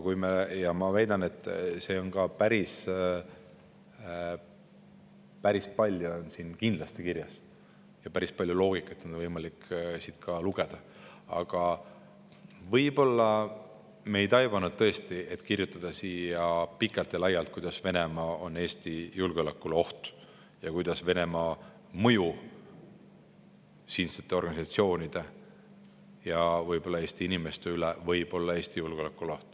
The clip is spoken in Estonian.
Ja ma väidan, et see on päris palju on siin kindlasti kirjas ja päris palju loogikat on võimalik siit välja lugeda, aga võib-olla tõesti me ei taibanud kirjutada siia pikalt ja laialt, kuidas Venemaa on Eesti julgeolekule oht ja kuidas Venemaa mõjuvõim siinsete organisatsioonide ja Eesti inimeste üle võib kujutada ohtu Eesti julgeolekule.